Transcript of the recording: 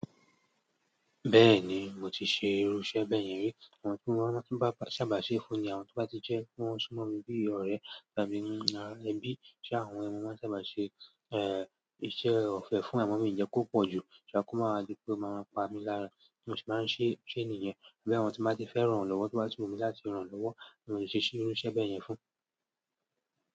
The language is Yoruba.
Bẹ́ẹ̀ni, mo ti ṣe irú iṣẹ́ bẹ́ẹ̀ yẹn rí. Àwọn tí wọ́n ti bá sábà ṣe fún ni àwọn tí bá ti jẹ́ kí wọ́n sú mọ́ mi bí ọ̀rẹ́ tàbí ẹ́bi àwọn ni máa ń sábà ṣe, eh, iṣẹ́ ọ̀fẹ́ fún en, a ma mi mi jẹ kó pọ̀jù, ṣùgbọ́n kó máa rí pé ó máa ń pa mí lára bí mo ṣe máa ń ṣe ṣe nìyen. Bí àwọn tí bá ti fẹ́ ràn lọ́wọ́ tó bá tí wùmí mi láti ràn lọ́wọ́, mo ṣe se irú iṣẹ́ bẹ́ẹ̀ yẹn fún.